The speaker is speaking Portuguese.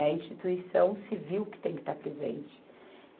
É a instituição civil que tem que estar presente.